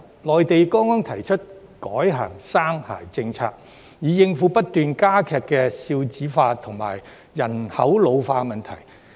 內地剛剛提出改行"三孩政策"，以應付不斷加劇的"少子化"和人口老化的問題。